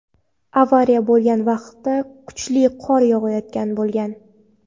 Avariya bo‘lgan vaqtda kuchli qor yog‘ayotgan bo‘lgan.